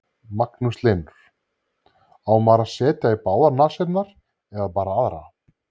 Magnús Hlynur: Á maður að setja í báðar nasirnar eða bara aðra?